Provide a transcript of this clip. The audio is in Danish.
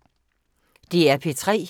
DR P3